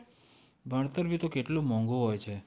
ભણતર ભી તો કેટલું મોંઘું હોય છે.